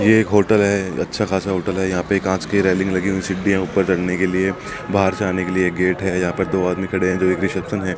ये एक होटल है अच्छा खासा होटल है यहां पे कांच की रेलिंग लगी हुई सीढ़ियां ऊपर चढ़ने के लिए बाहर जाने के लिए गेट है यहां पर दो आदमी खड़े हैं जो एक रिसेप्शन है।